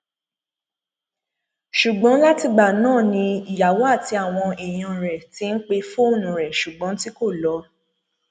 ṣùgbọn látìgbà náà ni ìyàwó àti àwọn èèyàn rẹ ti ń pe fóònù rẹ ṣùgbọn tí kò lọ